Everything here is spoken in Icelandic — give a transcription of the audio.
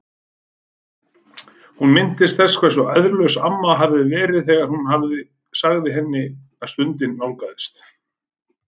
Hún minntist þess hversu æðrulaus amma hafði verið þegar hún sagði henni að stundin nálgaðist.